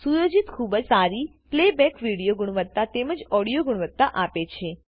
આ સુયોજન ખૂબ જ સારી પ્લેબેક વિડિયો ગુણવત્તા તેમજ ઓડિયો ગુણવત્તા આપે છે